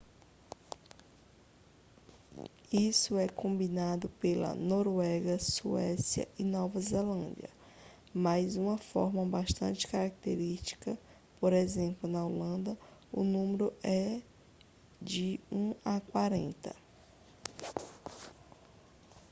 isso é combinado pela noruega suécia e nova zelândia mas uma forma bastante característica por exemplo na holanda o número é de um a quarenta